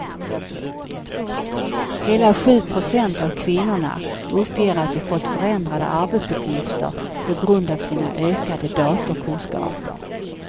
Hela sju procent av kvinnorna uppger att de fått förändrade arbetsuppgifter på grund av sina ökade datorkunskaper.